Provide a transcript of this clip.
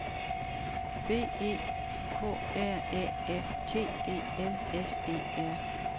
B E K R Æ F T E L S E R